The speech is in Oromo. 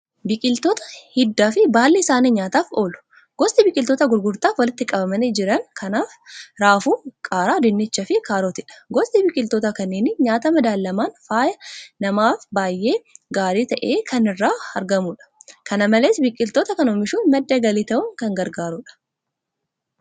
Biqiltoota hiddii fi baalli isaanii nyaataaf oolu. Gosti biqiltoota gurgurtaaf walitti qabamanii jiran kanaas; raafuu, qaaraa, dinnichaa fi kaarotiidha. Gosti biqiltoota kanneenii nyaatni madaalamaan fayyaa namaaf baay'ee gaarii ta'e kan irraa argamudha. Kana malees biqiltoota kana oomishuun madda galii ta'uun kan gargaarudha.